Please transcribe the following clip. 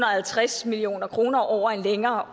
og halvtreds million kroner over en længere